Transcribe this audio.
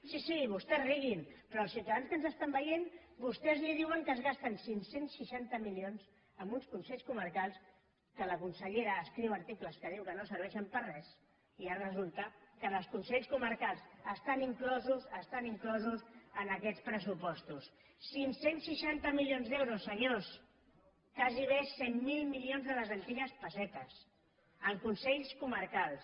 sí sí vostès riguin però als ciutadans que ens estan veient vostès els diuen que es gasten cinc cents i seixanta milions en uns consells comarcals que la consellera escriu articles que diu que no serveixen per a res i ara resulta que els consells comarcals estan inclosos estan inclosos en aquests pressupostos cinc cents i seixanta milions d’euros senyors gairebé cent miler milions de les antigues pessetes en consells comarcals